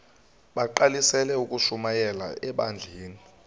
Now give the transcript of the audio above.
bagqalisele ukushumayela ebandleni